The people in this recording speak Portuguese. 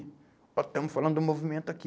Nós estamos falando do movimento aqui.